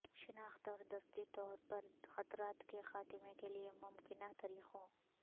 شناخت اور دستی طور پر خطرات کے خاتمے کے لئے ممکنہ طریقوں